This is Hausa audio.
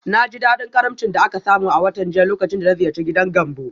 Na ji daɗin karimcin da aka samu a watan jiya lokacin da na ziyarci gidan Gambo.